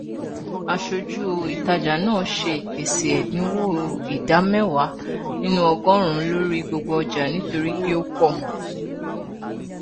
aṣojú ìtajà náà ṣe ìpèsè ẹdínwó ìdá mẹwàá nínú ọgọrùnún lórí gbogbo ọjà nítorí pé ó pọ